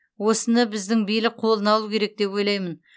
осыны біздің билік қолына алу керек деп ойлаймын